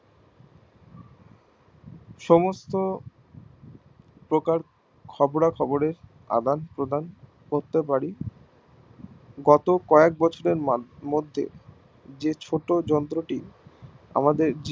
সমস্ত প্রকার খবর খবরে আদান প্রদান করতে পারি গত কয়েক বছরের মধ্যে যে ছোট যন্ত্র টি আমাদের